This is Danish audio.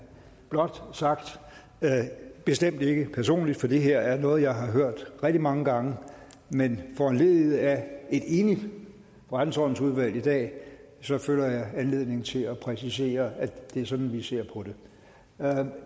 sagt at det bestemt ikke personligt for det her er noget jeg har hørt rigtig mange gange men foranlediget af et enigt forretningsordensudvalg i dag føler jeg anledning til at præcisere at det er sådan vi ser på det